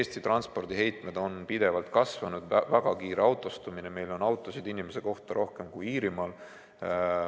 Eesti transpordiheitmed on pidevalt kasvanud, on toimunud väga kiire autostumine – meil on autosid ühe inimese kohta rohkem kui Iirimaal.